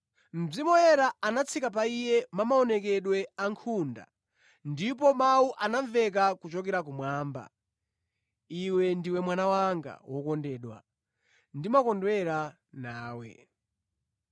Mzimu Woyera anatsika pa Iye mumaonekedwe a nkhunda ndipo mawu anamveka kuchokera kumwamba: “Iwe ndiwe Mwana wanga wokondedwa; ndimakondwera nawe.”